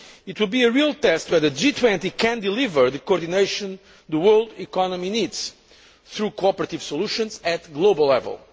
It will be a real test of whether the G20 can deliver the coordination the world economy needs through cooperative solutions at global level.